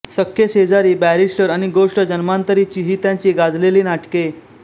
सख्खे शेजारी बॅरिस्टर आणि गोष्ट जन्मांतरीची ही त्यांची गाजलेली नाटके